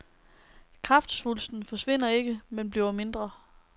Kræftsvulsten forsvinder ikke, men bliver mindre.